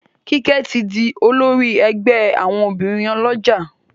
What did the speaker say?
Kike tí dì olórí ègbé àwọn obìrin olójà